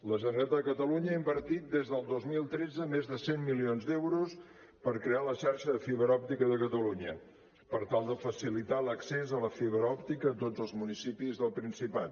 la generalitat de catalunya ha invertit des del dos mil tretze més de cent milions d’euros per crear la xarxa de fibra òptica de catalunya per tal de facilitar l’accés a la fibra òptica a tots els municipis del principat